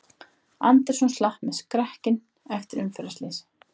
Anderson slapp með skrekkinn eftir umferðarslys